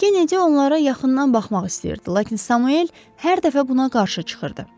Kennedy onlara yaxından baxmaq istəyirdi, lakin Samuel hər dəfə buna qarşı çıxırdı.